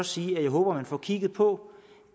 sige at jeg håber at man får kigget på